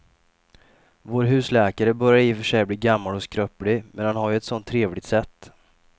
Vår husläkare börjar i och för sig bli gammal och skröplig, men han har ju ett sådant trevligt sätt!